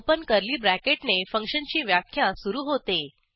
open curly ब्रॅकेटने फंक्शनची व्याख्या सुरू होते